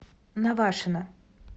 навашино